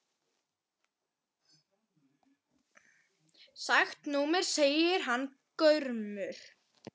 Skakkt númer segir hann gramur.